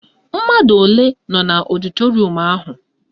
Mmadụ ole nọ n'ọdịtorum ahụ?